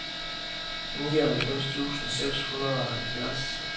nioghalvfems tusind seks hundrede og halvfjerds